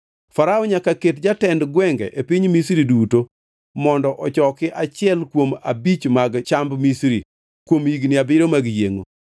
Farao nyaka ket jotend gwenge e piny Misri duto mondo ochoki achiel kuom abich mag chamb Misri kuom higni abiriyo mag yiengʼo.